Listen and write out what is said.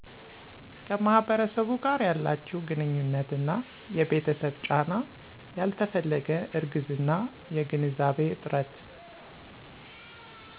ከማህበረሰቡ ጋር ያላችው ግንኙነት እና የቤተሰብ ጫና ያልተፈለገ እርግዝና የግንዛቤ እጥረት